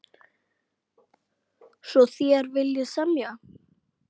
Svo þér viljið semja?